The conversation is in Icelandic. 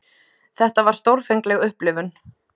Þetta var stórfengleg upplifun.